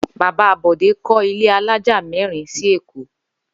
Bàbá Bò̩dé kó̩ ilé alájà mérin sí Èkó